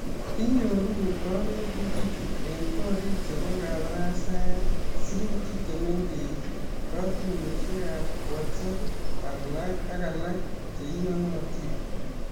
Inyoru konetutichu eng korik chebo kabarastaet ,sirutik che mengeech, kotuiyosiekab WhatsApp ak alak che iyonotin